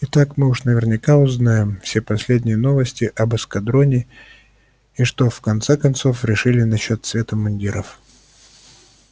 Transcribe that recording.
и так мы уж наверняка узнаем все последние новости об эскадроне и что они в конце концов решили насчёт цвета мундиров